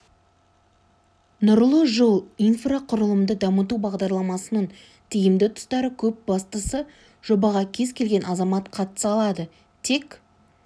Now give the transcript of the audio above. нұрлы жол инфрақұрылымды дамыту бағдарламасының тиімді тұстары көп бастысы жобаға кез келген азамат қатыса алады тек